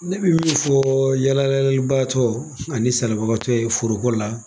Ne bɛ min fɔ yalalibatɔ ani salibagatɔ ye foroko la.